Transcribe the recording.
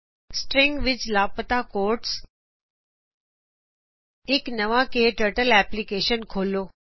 strings ਵਿੱਚ ਸ਼ਾਮਲ quotes ਇਕ ਨਵਾ ਕਟਰਟਲ ਐਪਲਿਕੇਸ਼ਨ ਖੋਲੋ